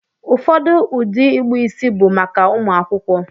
Ụfọdụ ụdị ịkpụ isi bụ maka ụmụ akwụkwọ.